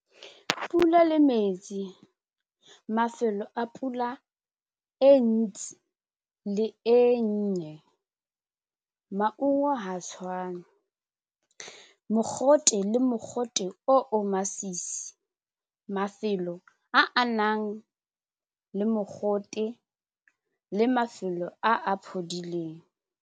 Pula le metsi, mafelo a pula e ntsi le e nnye maungo ha tshwane, mogote le mogote o o masisi mafelo a a nang le mogote le mafelo a a phodileng.